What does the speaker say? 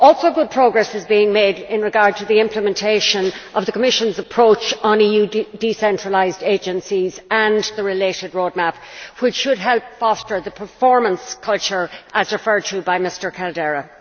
Good progress is also being made with regard to the implementation of the Commission's approach on EU decentralised agencies and the related roadmap, which should help foster the performance culture referred to by Mr Caldeira.